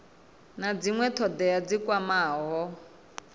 na dzinwe thodea dzi kwamaho